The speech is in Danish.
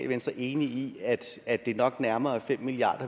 venstre enig i at det nok nærmere er fem milliard